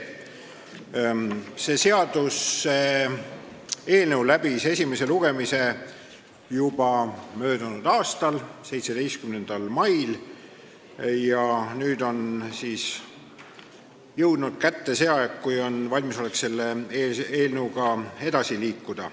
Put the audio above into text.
See seaduseelnõu oli esimesel lugemisel juba möödunud aasta 17. mail ja nüüd on siis jõudnud kätte see aeg, kui on olemas valmisolek selle eelnõuga edasi liikuda.